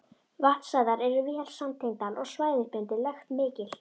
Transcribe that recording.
Vatnsæðar eru vel samtengdar og svæðisbundin lekt mikil.